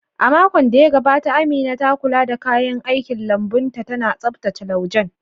A makon da ya gabata, Amina ta kula da kayan aikin lambun ta, tana tsaftace laujen